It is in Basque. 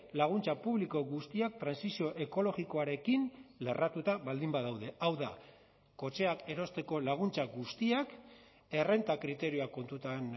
laguntza publiko guztiak trantsizio ekologikoarekin lerratuta baldin badaude hau da kotxeak erosteko laguntza guztiak errenta kriterioak kontutan